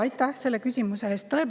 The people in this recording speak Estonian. Aitäh selle küsimuse eest!